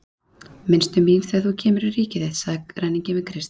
Minnstu mín þegar þú kemur í ríki þitt, sagði ræninginn við Krist.